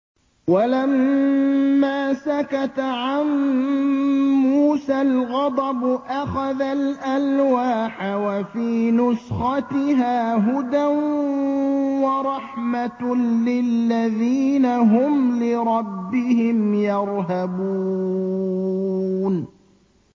وَلَمَّا سَكَتَ عَن مُّوسَى الْغَضَبُ أَخَذَ الْأَلْوَاحَ ۖ وَفِي نُسْخَتِهَا هُدًى وَرَحْمَةٌ لِّلَّذِينَ هُمْ لِرَبِّهِمْ يَرْهَبُونَ